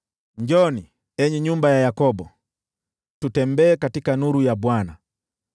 Njooni, enyi nyumba ya Yakobo, tutembeeni katika nuru ya Bwana .